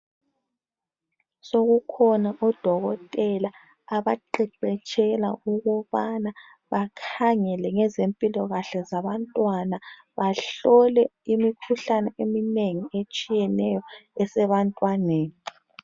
Sokukhona odokotela abaqeqetshela ukubana bakhangele ngezempilakahle zabantwana, bahlole imikhuhlane eminengi etshiyeneyo esebantwaneni.